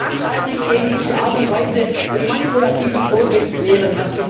Ich möchte mich nachhaltig gegen diese Art und Weise des manipulativen Vorgehens wehren!